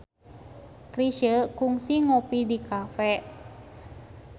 Chrisye kungsi ngopi di cafe